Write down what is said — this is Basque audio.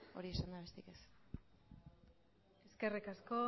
hori esanda besterik ez eskerrik asko